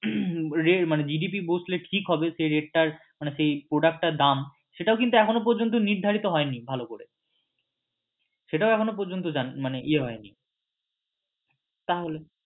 GDP বসলে ঠিক হবে সেই rate টার মানে সেই product টার দাম সেটাও কিন্তু এখনও পর্যন্ত নির্ধারিত হয়নি ভালো করে সেটাও এখনও পর্যন্ত ইয়ে হয়নি